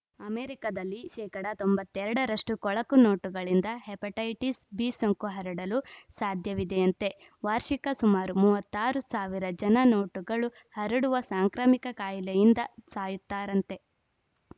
ಅಮೆರಿಕದಲ್ಲಿ ಶೇಕಡಾ ತೊಂಬತ್ತ್ ಎರಡ ರಷ್ಟುಕೊಳಕು ನೋಟುಗಳಿಂದ ಹೆಪಟೈಟಿಸ್‌ ಬಿ ಸೋಂಕು ಹರಡಲು ಸಾಧ್ಯವಿದೆಯಂತೆ ವಾರ್ಷಿಕ ಸುಮಾರು ಮೂವತ್ತ್ ಆರು ಸಾವಿರ ಜನ ನೋಟುಗಳು ಹರಡುವ ಸಾಂಕ್ರಾಮಿಕ ಕಾಯಿಲೆಯಿಂದ ಸಾಯುತ್ತಾರಂತೆ